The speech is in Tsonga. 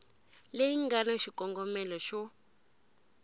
leyi nga na xikongomelo xo